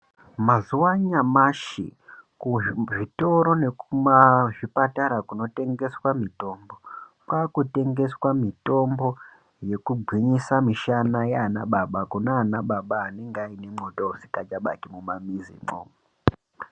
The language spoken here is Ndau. Mazuwa anyamashi kuzvitoro nekuzvipatara kunotengeswa mitombo kwakutengeswa mitombo yekugwinyisa mishana yaanababa kunanababa anenge aine mwoto unonga usisabaki mumamizimwo.